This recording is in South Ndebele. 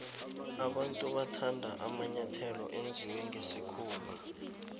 abantu bathanda amanyathelo enziwe nqesikhumba